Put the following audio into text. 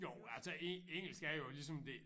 Jo altså engelsk er jo ligesom det